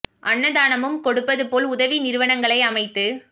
அன்னதானமும் கொடுப்பது போல் உதவி நிறுவனக்களை அமைத்து